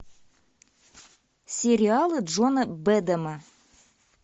сериалы джона бэдэма